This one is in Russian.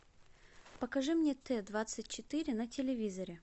покажи мне т двадцать четыре на телевизоре